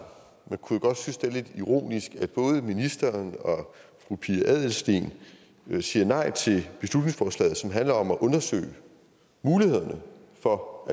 man kunne jo godt synes det er lidt ironisk at både ministeren og fru pia adelsteen siger nej til beslutningsforslaget som handler om at undersøge mulighederne for